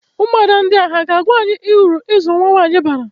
Ụmụada ndia ha ga-agwa anyị ụrụ ịzụ nwa nwaanyị bara?